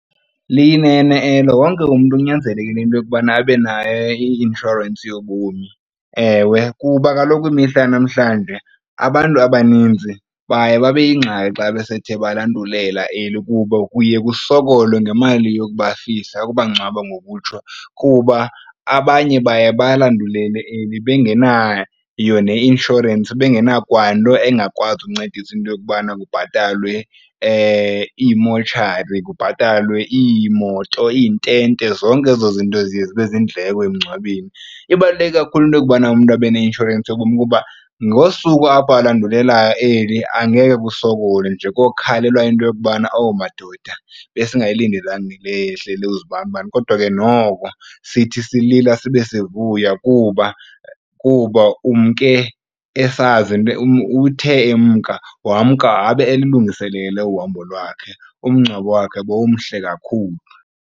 Liyinene elo, wonke umntu kunyanzelekile into yokubana abe nayo i-inshorensi yobomi. Ewe, kuba kaloku imihla yanamhlanje abantu abaninzi baye babe yingxaki xa besethe balandulela eli kuba kuye kusokolwe ngemali yokubafihla, ukubangcwaba ngokutsho. Kuba abanye baye balandulele eli bengenayo neinshorensi bengenakwanto engakwazi ukuncedisa into yokubana kubhatalwe iimotshwari kubhatalwe iimoto, iintente zonke ezo zinto ziye zibe ziindleko emngcwabeni. Ibaluleke kakhulu into yokubana umntu abe neinshorensi yobomi kuba ngosuku apha alandulela eli angeke kusokolwe nje kokhalelwa into yokubana owu madoda besingayilindelanga le yehlele uzibanibani kodwa ke noko sithi silila sibe sivuya kuba kuba umke esazi uthe emka wamka wabe elilungiselele uhambo lwakhe. Umngcwabo wakhe bowumhle kakhulu.